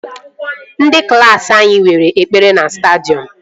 Ndị klaasị anyị nwere ekpere na stadiọm